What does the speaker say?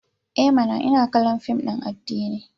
I mana! Ina kallon fim din addini.